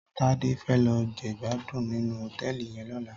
Tade fè lò jègbádún ninú hótèlí yèn lòlá